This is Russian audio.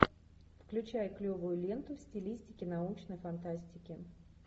включай клевую ленту в стилистике научной фантастики